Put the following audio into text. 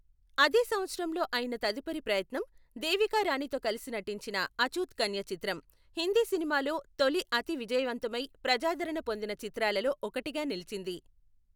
అదే సంవత్సరంలో అయిన తదుపరి ప్రయత్నం, దేవికా రాణితో కలిసి నటించిన అఛూత్ కన్య చిత్రం, హిందీ సినిమాలో తొలి అతి విజయవంతమై ప్రజాదరణ పొందిన చిత్రాలలో ఒకటిగా నిలిచింది.